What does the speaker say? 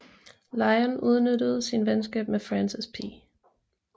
Lyon udnyttede sit venskab med Francis P